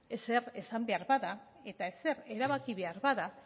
ezer esan behar bada eta ezer erabaki behar bada